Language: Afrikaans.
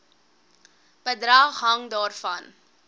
bedrag hang daarvan